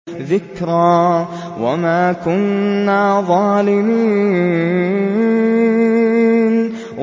ذِكْرَىٰ وَمَا كُنَّا ظَالِمِينَ